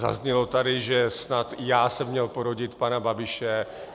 Zaznělo tady, že snad i já jsem měl porodit pana Babiše.